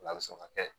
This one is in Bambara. N'a bɛ se ka kɛ